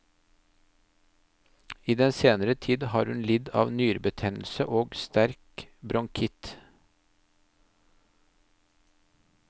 I den senere tid har hun lidd av nyrebetennelse og sterk bronkitt.